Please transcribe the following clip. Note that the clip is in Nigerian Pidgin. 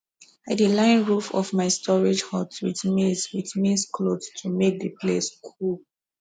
i dey line roof of my storage hut with maize with maize cloth to make the place cool